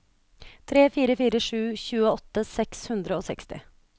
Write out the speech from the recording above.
tre fire fire sju tjueåtte seks hundre og seksti